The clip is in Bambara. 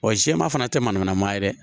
Wa jɛman fana tɛ manamanama ye dɛ